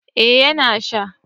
eh ya na sha